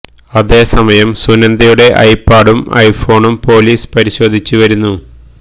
അതേസമയം സുനന്ദയുടെ ഐ പാഡും ഐ ഫോണും പോലീസ് പരിശോധിച്ച് വരുന്നു